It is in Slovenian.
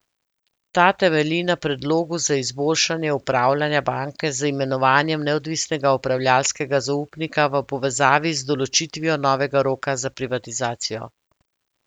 Ta temelji na predlogu za izboljšanje upravljanja banke z imenovanjem neodvisnega upravljavskega zaupnika v povezavi z določitvijo novega roka za privatizacijo.